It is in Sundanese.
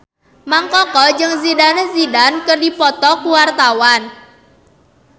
Mang Koko jeung Zidane Zidane keur dipoto ku wartawan